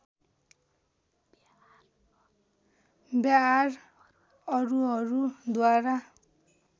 व्याआर अरूहरू द्वारा